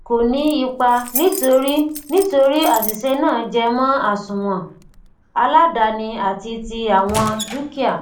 ko ni ipa nitori nitori asise naa jemo asúnwòn aladaani àti ti àwọn dúkìá